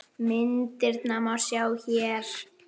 Myndirnar má sjá hér